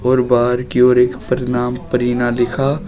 और बाहर की ओर एक प्रणाम परिणा लिखा--